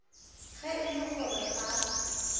ge e le gore ga